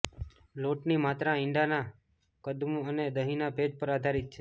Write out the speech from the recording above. લોટની માત્રા ઇંડાનાં કદ અને દહીંના ભેજ પર આધારિત છે